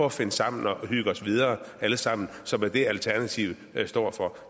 at finde sammen og hygge os videre alle sammen som er det alternativet står for